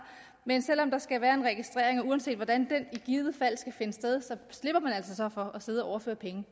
men selv om der skal være registrering og uanset hvordan den i givet fald skal finde sted slipper man altså så for at sidde og